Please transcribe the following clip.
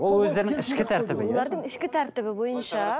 ол өздерінің ішкі тәртібі олардың ішкі тәртібі бойынша